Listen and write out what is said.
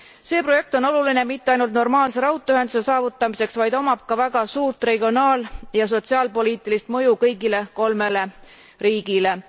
See projekt on oluline mitte ainult normaalse raudteeühenduse saavutamiseks, vaid omab ka väga suurt regionaal ja sotsiaalpoliitilist mõju kõigile kolmele riigile.